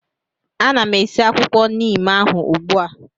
Ana m esi akwụkwọ neem ahụ ugbu a